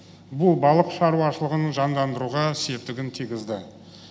бұл балық шаруашылығын жандандыруға септігін тигізді